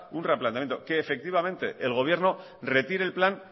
un replanteamiento que efectivamente el gobierno retire el plan